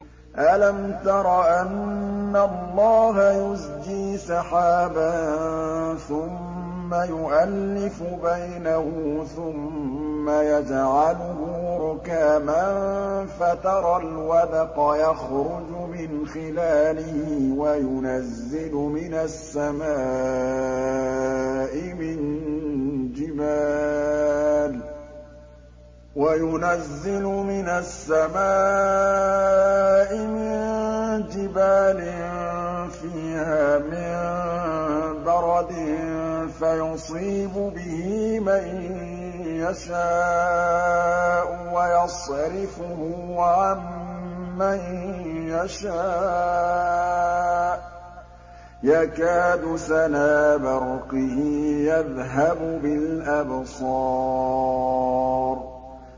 أَلَمْ تَرَ أَنَّ اللَّهَ يُزْجِي سَحَابًا ثُمَّ يُؤَلِّفُ بَيْنَهُ ثُمَّ يَجْعَلُهُ رُكَامًا فَتَرَى الْوَدْقَ يَخْرُجُ مِنْ خِلَالِهِ وَيُنَزِّلُ مِنَ السَّمَاءِ مِن جِبَالٍ فِيهَا مِن بَرَدٍ فَيُصِيبُ بِهِ مَن يَشَاءُ وَيَصْرِفُهُ عَن مَّن يَشَاءُ ۖ يَكَادُ سَنَا بَرْقِهِ يَذْهَبُ بِالْأَبْصَارِ